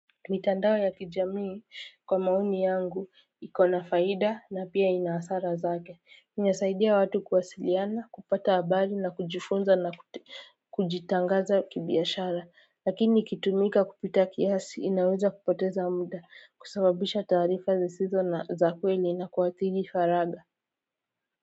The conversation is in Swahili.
Mitandao ya kijamii kwa maoni yangu iko na faida na pia ina hasara zake. Inasaidia watu kuwasiliana, kupata habari na kujifunza na kujitangaza kibiashara. Lakini ikitumika kupita kiasi inaweza kupoteza muda kusababisha taarifa zisizo na za kweli na kuathiri faraga.